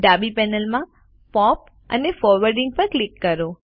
ડાબી પેનલમાં pop and forwarding પર ક્લિક કરો